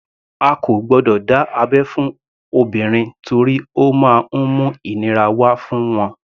A kò gbọdọ̀ dá abẹ́ fún obìnrin torí ó má ń mú ìnira wá fún wọn.